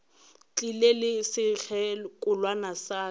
tlile le sekgekolwana sa ka